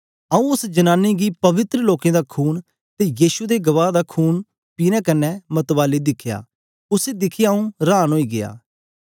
आऊँ उस्स जनानी गी पवित्र लोकें दा खून ते यीशु दे गवाह दा खून पीने कन्ने मतवाली दिखया उसी दिखियै आऊँ हरान ओई गीया